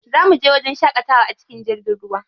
Za muje wajen shaƙatawa a cikin jirgin ruwa.